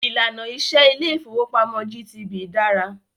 Ìlànà iṣẹ ilé ìfọwọ́pamo GTB dára.